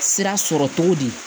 Sira sɔrɔ cogo di